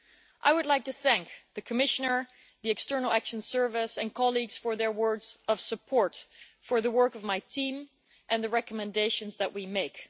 I would like to thank the Commissioner, the External Action Service and colleagues for their words of support for the work of my team and the recommendations that we make.